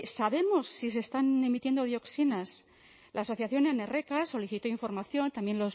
sabemos si se están emitiendo dioxinas la asociación anerreka solicitó información también